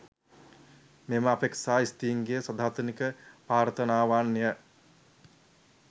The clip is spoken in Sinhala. මෙම අපේක්ෂා ස්ත්‍රීන්ගේ සදාතනික ප්‍රාර්ථනාවන් ය.